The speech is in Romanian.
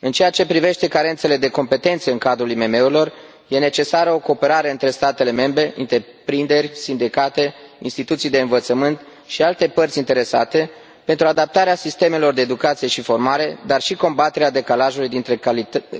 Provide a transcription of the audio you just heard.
În ceea ce privește carențele de competențe în cadrul IMM urilor, este necesară o cooperare între statele membre, întreprinderi, sindicate, instituții de învățământ și alte părți interesate pentru adaptarea sistemelor de educație și formare, dar și combaterea decalajului dintre